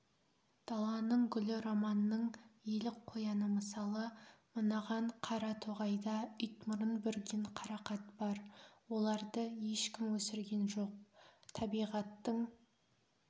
даланың гүлі романның елік қояны мысалы мынаған қара тоғайда итмұрын бүрген қарақат бар оларды ешкім өсірген жоқ табиғаттың